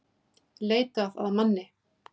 Leitað að manni